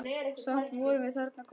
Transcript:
Samt vorum við þarna komnar.